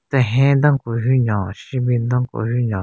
Tehen den ku hyu nyon shenbin den ku hyu nyon.